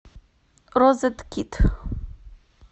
розеткед